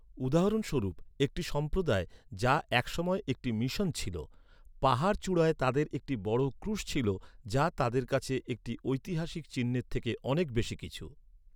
উদাহরণস্বরূপ, একটি সম্প্রদায় যা একসময় একটি মিশন ছিল। পাহাড়চূড়ায় তাদের একটি বড় ক্রুশ ছিল, যা তাদের কাছে একটি ঐতিহাসিক চিহ্নের থেকে অনেক বেশি কিছু।